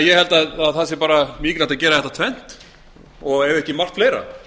ég held að það sé bara mikilvægt að gera þetta tvennt ef ekki margt fleira